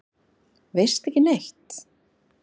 Veistu ekki neitt?